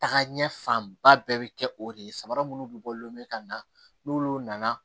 Tagaɲɛ fanba bɛɛ bɛ kɛ o de ye sabara munnu bɛ bɔ lenbe ka na n'olu nana